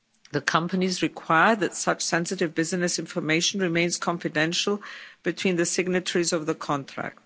The companies require that such sensitive business information remains confidential between the signatories of the contract.